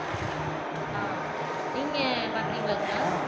ஆஹ் நீங்க பாத்திருக்கீங்களா குணா